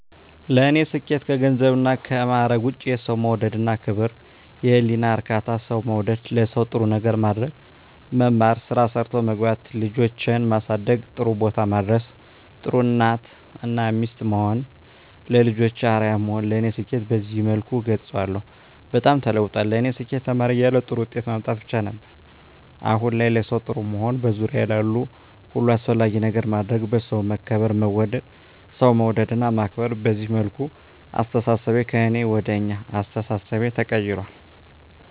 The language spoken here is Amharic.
ለኔ ስኬት ከገንዘብና ከማዕረግ ውጭ የሠው መውደድ እና ክብር፤ የህሊና እርካታ፤ ሠው መውደድ፤ ለሠው ጥሩ ነገር ማድረግ፤ መማር፤ ስራ ሠርቶ መግባት፤ ልጆቼን ማሠደግ ጥሩቦታ ማድረስ፤ ጥሩ እናት እና ሚስት መሆን፤ ለልጆቼ አርያ መሆን ለኔ ስኬትን በዚህ መልኩ እገልፀዋለሁ። በጣም ተለውጧል ለኔ ስኬት ተማሪ እያለሁ ጥሩ ውጤት ማምጣት ብቻ ነበር። አሁን ላይ ለሠው ጥሩ መሆን፤ በዙሪያዬ ላሉ ሁሉ አስፈላጊ ነገር ማድረግ፤ በሠው መከበር መወደድ፤ ሠው መውደድ እና ማክበር፤ በዚህ መልኩ አስተሣሠቤ ከእኔ ወደ አኛ አስተሣሠቤ ተቀይራል።